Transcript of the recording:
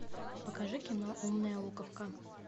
покажи кино умная луковка